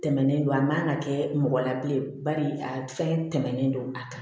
Tɛmɛnen don a man ka kɛ mɔgɔ la bilen bari a fɛn tɛmɛnen don a kan